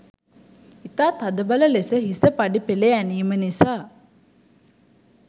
ඉතා තදබල ලෙස හිස පඩි පෙළේ ඇනීම නිසා